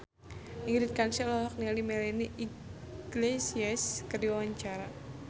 Ingrid Kansil olohok ningali Melanie Iglesias keur diwawancara